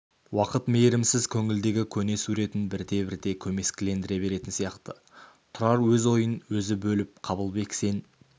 уақыт мейірімсіз көңілдегі көне суретін бірте-бірте көмескілендіре беретін сияқты тұрар өз ойын өзі бөліп қабылбек сен